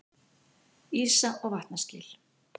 Ísa- og vatnaskil.